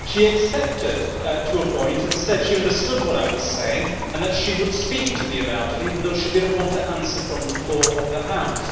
She accepted this up to a point and said she understood what I was saying and that she would speak to me about it, although she did not want to answer from the floor of the House.